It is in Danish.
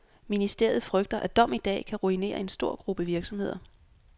Ministeriet frygter, at dom i dag kan ruinere en stor gruppe virksomheder.